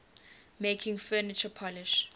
making furniture polish